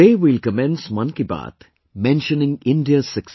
Today we will commence 'Mann Ki Baat' mentioning India's success